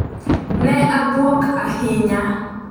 Ne abwok ahinya.